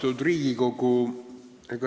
Austatud Riigikogu!